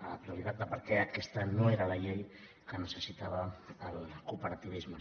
a la totalitat de per què aquesta no era la llei que necessitava el cooperativisme